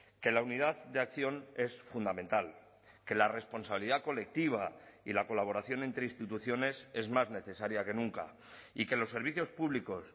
que la unidad de acción es fundamental que la responsabilidad colectiva y la colaboración entre instituciones es más necesaria que nunca y que los servicios públicos